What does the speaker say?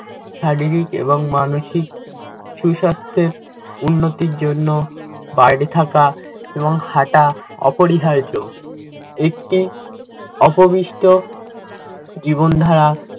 শারীরিক এবং মানসিক সুস্বাস্থ্যের উন্নতির জন্য বাইরে থাকা এবং হাঁটা অপরিহার্য। একটি উপবিষ্ট জীবনধারা